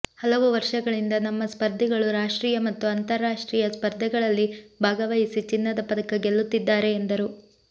ಹಲವು ವರ್ಷಗಳಿಂದ ನಮ್ಮ ಸ್ಪರ್ಧಿಗಳು ರಾಷ್ಟ್ರೀಯ ಮತ್ತು ಅಂತರರಾಷ್ಟ್ರೀಯ ಸ್ಪರ್ಧೆಗಳಲ್ಲಿ ಭಾಗವಹಿಸಿ ಚಿನ್ನದ ಪದಕ ಗೆಲ್ಲುತ್ತಿದ್ದಾರೆ ಎಂದರು